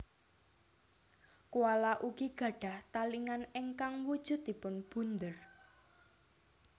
Koala ugi gadhah talingan ingkang wujudipun bunder